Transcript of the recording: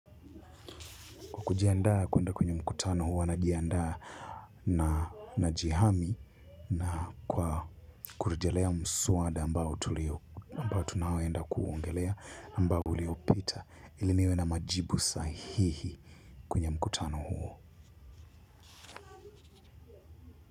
Kwa kujiandaa kuenda kwenye mkutano huwa na jiandaa na jihami na kwa kurejelea msuwada ambao tunaoenda kuongelea ambao uliopita iliniwe na majibu sahihi kwenye mkutano huo.